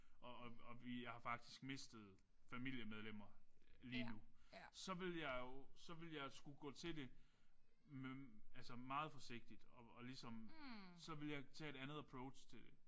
Og og og vi har faktisk mistet familiemedlemmer lige nu så ville jeg jo så ville jeg skulle gå til det med altså meget forsigtigt og og ligesom så ville jeg tage et andet approach til det